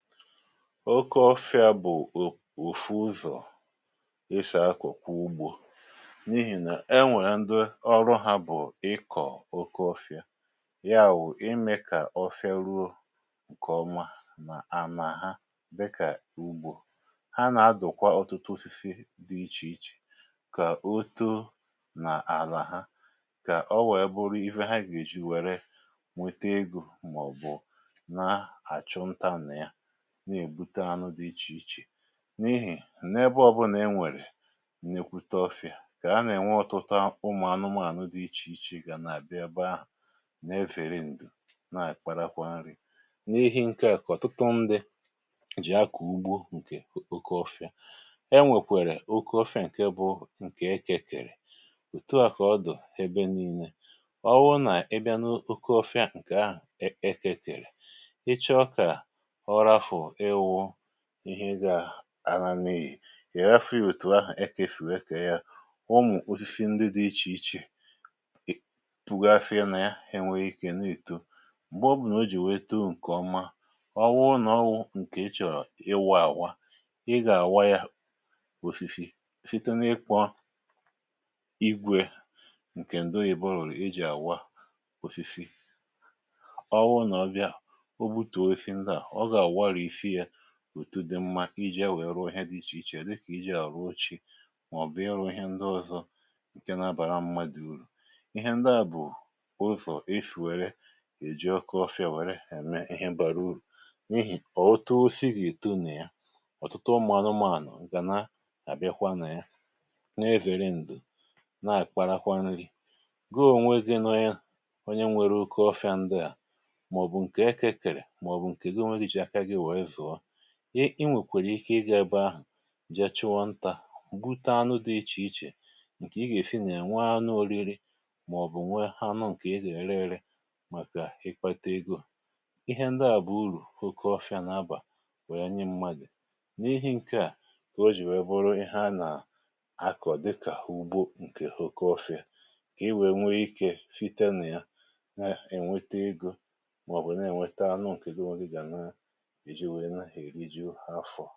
Okeọfịà bụ̀ òfu ụzọ̀ esi akokwa ugbȯ n’ihì nà enwèrè ndi ọrụ hȧ bụ̀ ịkọ̀ okeọfịà ya wụ̀, imė kà ọfịà ruo ǹkè ọma nà ànà ha dịkà ugbȯ, ha nà adụ̀kwa ọtụtụ osisi dị ichè ichè kà o too nà àlà ha, kà o wèe bụrụ ihe ha gà-èji wère nwete egȯ màọ̀bụ̀ na àchụnta nà ya, na-ejide anụ di iche iche n’ihì n’ebe ọ̀bụ̇ nà-enwèrè nnekwute ọfị̀à kà a nà-ènwe ọtụtụ ụmụ̀anụmȧ na-enwe ọtụtụ ụmụ anụmanụ dị ichèichè gà nà-àbịa eba ahu na-efèri ǹdo na àkparakwa nri n’ihi ǹkè a ka ọ̀tụtụ ndi jì akọ̀ ugbo ǹkè okeọfị̀a., enwèkwèrè oke ọfị̀a ǹke bụ ǹkè ekė kèrè, òtu a kà ọ dụ̀ ebe nii̇nė, ọ bụrụ nà ibia n’oke ọfị̀a ǹkè ahụ̀ ekė kèrè, icho ka orafu iwu ihe gà-àna n’ihì ị̀ rafu ya òtù ahụ̀ ẹkà esì wee kee ya ụmụ̀ osisi ndị dị̇ ichè ichè pùgasiri nà ya, enwẹ ikė n’ ìto m̀gbe ọ bụnà o jì wẹẹ too ǹkẹ̀ ọma, ọwụ nà ọwụ̇ ǹkè i chọ̀rọ̀ ịwa àwa, ị gà-àwa ya òsìsì site n’ịkpọ̇ igwė ǹkè ndị oyi̇bo rụrụ̀ i jì àwa osisi, ọwụrụ nà ọbịa o butùo osisi ndị à, oga-awarisi ya etu dị mmȧ iji e wèe ruo ihe dị ichè ichè dịkà iji̇ a ruo oche màọ̀bụ̀ iru ihe ndị ọzọ ǹkè na-abàra mmadụ̀ urù, ihe ndị à bụ̀ ụzọ̀ esì wère è ji okeọfịȧ wère ème ihe bàrà urù n’ihì ọ̀ too osisi gi ètonà na ya, ọ̀tụtụ ụmụ̀ anụmànu ga-na abikwa nà ya na-ewère ndụ̀ na àkparakwa nri̇ gi ònwe gị wu onye nwere oke ọfịa ndị à màọ̀bụ̀ ǹkè eke kèrè màọ̀bụ̀ ǹkè gị onwe gị ji aka gị were zuo, gị i nwèkwèrè ike ịgȧ ebe ahụ̀ jee chụ̇ọ ntȧ m̀gbute anụ dị ichè ichè ǹkè ị gà-èsi nà nwee anụ oriri màọ̀bụ̀ nwe anụ ǹkè ị gà-ère ere màkà ịkpata ego, ihe ndi à bụ̀ urù oke ọfịȧ nà-abà wè nye mmadu n’ihi ǹkeà kà o jì wèe bụrụ ihe anà akọ̀ dịkà ugbo ǹkè oke ofìà kà i wèe nwe ike site nà ya na-ènwete egȯ màọ̀bụ̀ na-ènweta anụ ǹkè gị onwe gị gà na èri ka iwe rijo afò.